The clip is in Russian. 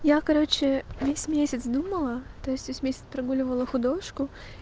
я короче весь месяц думала то есть весь месяц прогуливала художку